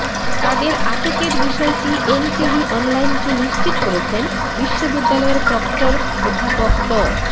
তাদের আটকের বিষয়টি এনটিভি অনলাইনকে নিশ্চিত করেছেন বিশ্ববিদ্যালয়ের প্রক্টর অধ্যাপক ড